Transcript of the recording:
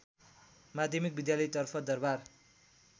माध्यमिक विद्यालयतर्फ दरबार